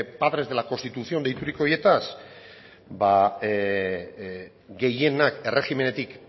padres de la constitución deituriko horietaz ba gehienak erregimenetik